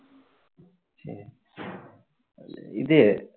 இது